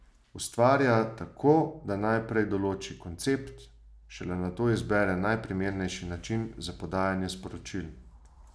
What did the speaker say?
Ustvarja tako, da najprej določi koncept, šele nato izbere najprimernejši način za podajanje sporočil.